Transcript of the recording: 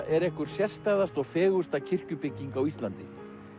er einhver sérstæðasta og fegursta kirkjubygging á Íslandi